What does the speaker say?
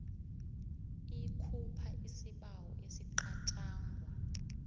ikhupha isibawo esicatjangwa